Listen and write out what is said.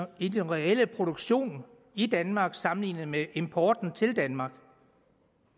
i den reelle produktion i danmark sammenlignet med importen til danmark